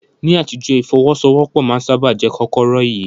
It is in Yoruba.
Ní àtijọ́, ìfọ́wọ́sọwọ́pọ̀ máa ń sáábà jẹ́ kọ́kọ́rọ́ ìyè.